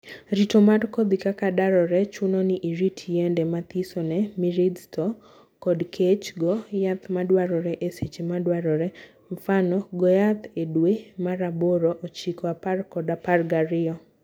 Rito mar kodhi: kaka darore chuno ni irit yiende mathiso ne mirids to kod keech, goo yath madwarore e seche madwarore (mfano:: go yath e dwe mar aboro, ochiko, apar kod apar ga riyo)